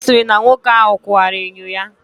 Ọ sịrị na nwoke ahụ kụwara enyo ya.